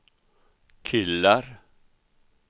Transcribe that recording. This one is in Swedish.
killar